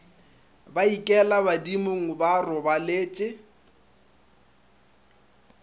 ba ikela badimong ba robaletše